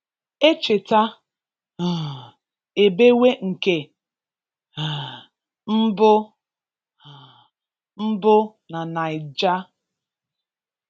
Echeta um ebewe nke um mbu um mbu na naija